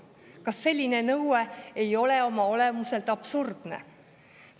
Kas selline nõue ei ole oma olemuselt absurdne?